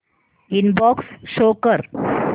inbox show कर